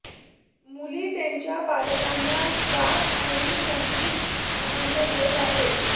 मुली त्यांच्या पालकांना गात आणि संगीत आनंद घेत आहेत